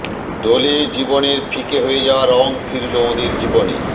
দোলে জীবনের ফিকে হয়ে যাওয়া রঙ ফিরল ওঁদের জীবনে